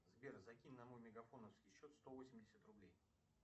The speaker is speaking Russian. сбер закинь на мой мегафоновский счет сто восемьдесят рублей